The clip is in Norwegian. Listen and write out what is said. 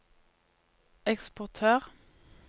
eksportør